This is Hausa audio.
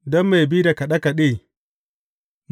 Don mai bi da kaɗe kaɗe.